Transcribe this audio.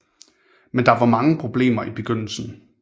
Men der var mange problemer i begyndelsen